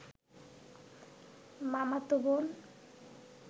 মামাতো বোন